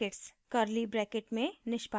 curly brackets में